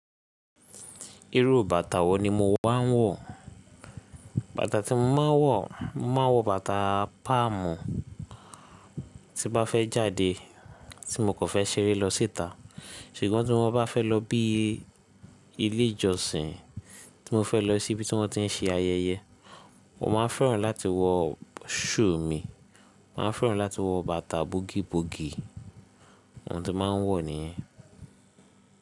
Irú bàtà wo ni mo wá ń wọ̀? Bàtà tí mo máa ń wọ̀, mo máa wọ bàtà páàmù tí bá fẹ́ jáde, tí mo kò fẹ́ ṣeré lọ síta. Ṣùgbọ́n tí mo bá fẹ́ lọ bí i ilé ìjọsìn, tí mo fẹ́ lọ sí ibi tí wọ́n ti ń ṣe ayẹyẹ, mo máa n fẹ́ràn láti wọ shoe mì, màá fẹ́ran láti wọ bàtà búgíbugì, ohun tí mo máa ń wọ̀ nìyẹn.